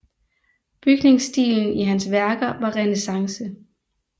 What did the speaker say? Bygningsstilen i hans værker var renæssance